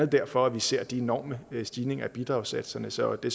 derfor at vi ser de enorme stigninger i bidragssatserne så det